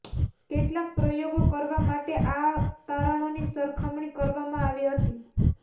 કેટલાક પ્રયોગો કરવા માટે આ તારણોની સરખામણી કરવામાં આવી હતી